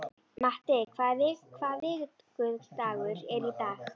Matti, hvaða vikudagur er í dag?